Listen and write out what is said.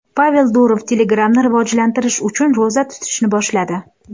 Pavel Durov Telegram’ni rivojlantirish uchun ro‘za tutishni boshladi.